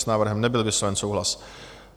S návrhem nebyl vysloven souhlas.